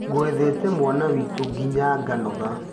Ngwethete mwana witũ nginya ganoga.